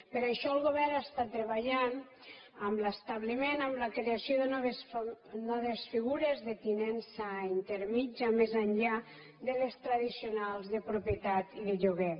per això el govern està treballant en l’establiment en la creació de noves figures de tinença intermèdia més enllà de les tradicionals de propietat i de lloguer